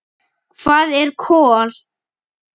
Hvað er kol?